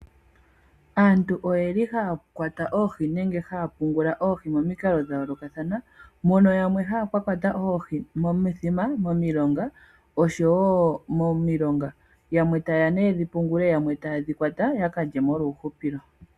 Aantu oye li haya kwata oohi nenge haya pungula oohi momikalo dha yoolokathana. Mono mu na yamwe haya ka kwata oohi momithima oshowo omilonga. Yamwe taye ya nee yedhi pungule, yamwe taye dhi kwata ya ka lye molwa uuhupilo.